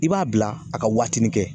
I b'a bila a ka watinin kɛ